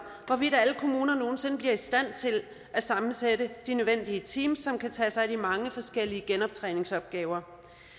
hvorvidt alle kommunerne nogen sinde bliver i stand til at sammensætte de nødvendige teams som kan tage sig af de mange forskellige genoptræningsopgaver